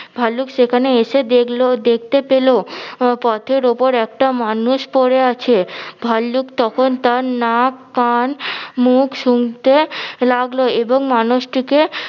ভাল্লুক সেখানে এসে দেখলো দেখতে পেলো আহ পথের ওপর একটা মানুষ পড়ে আছে ভাল্লুক তখন তার নাক কান মুখ সুংতে লাগলো এবং মানুষটিকে